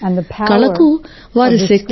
కళకు వారి శక్తి ఉంది